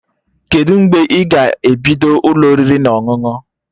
Kedụ mgbe ị ga-ebido Ụlọ oriri na ọṅụṅụ?